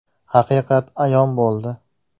haqiqat ayon bo‘ldi.